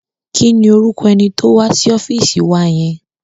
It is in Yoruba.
Kí ni orúkọ ẹni tó wá sí ọ́fíìsì wa yẹn?